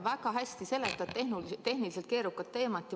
Väga hästi seletad tehniliselt keerukat teemat.